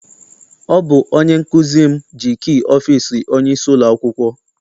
Ọ bụ onye nkụzi m ji kii ọfịịsi onyeisi ụlọakwụkwọ.